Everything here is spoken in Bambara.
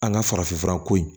An ka farafinfura ko in